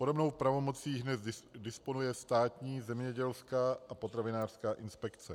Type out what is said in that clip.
Podobnou pravomocí dnes disponuje Státní zemědělská a potravinářská inspekce.